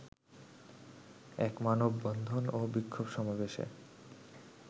এক মানববন্ধন ও বিক্ষোভ সমাবেশে